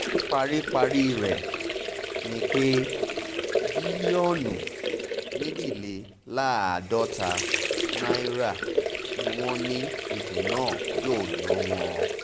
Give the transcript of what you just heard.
paríparí rẹ̀ ni pé bílíọ̀nù méjìléláàádọ́ta náírà ni wọ́n ní ètò náà yóò ná wọn